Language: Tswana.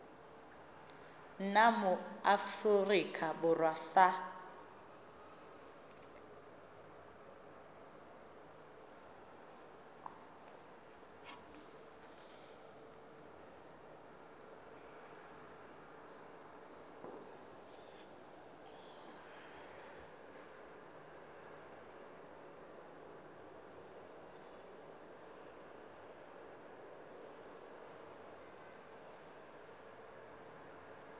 nna mo aforika borwa sa